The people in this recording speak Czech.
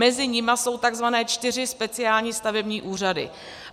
Mezi nimi jsou tzv. čtyři speciální stavební úřady.